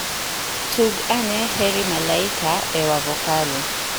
tug aneheri malaika e wavokali